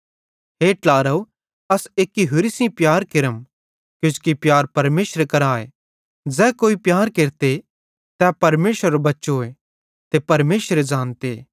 हे ट्लारव अस एक्की होरि सेइं प्यार केरम किजोकि प्यार परमेशरे करां आए ज़ै कोई प्यार केरते तै परमेशरेरो बच्चोए ते परमेशरे ज़ानते